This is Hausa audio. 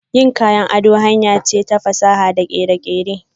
Yin kayan ado hanyar ce ta fasaha da kere-kere.